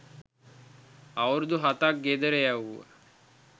අවුරුදු හතක් ගෙදර යැවුව